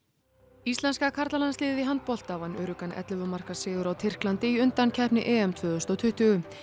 íslenska karlalandsliðið í handbolta vann öruggan ellefu marka sigur á Tyrklandi í undankeppni EM tvö þúsund og tuttugu